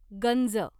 गंज